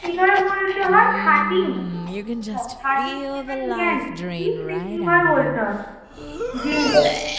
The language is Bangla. হয় thirteen কি এটা কিভাবে বলতে হয়?